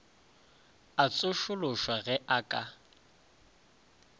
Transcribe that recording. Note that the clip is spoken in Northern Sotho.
a tsošološwa ge a ka